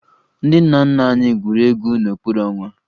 Ndị nna nna anyị gwuru egwu n'okpuru ọnwa